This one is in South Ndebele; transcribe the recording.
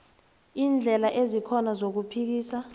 iindlela ezikhona zokuphikisa